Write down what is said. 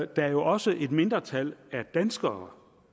der jo også er et mindretal af danskere